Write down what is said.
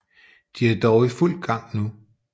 De er dog i fuld gang nu